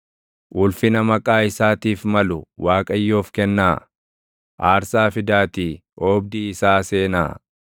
Ulfina maqaa isaatiif malu Waaqayyoof kennaa; aarsaa fidaatii oobdii isaa seenaa.